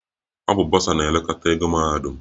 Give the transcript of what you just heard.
Ọ bụ bọsa na-elekọta ego mahadum